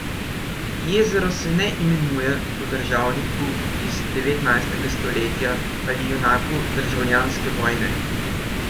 Jezero se ne imenuje po državniku iz devetnajstega stoletja ali junaku državljanske vojne.